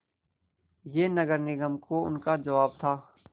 यह नगर निगम को उनका जवाब था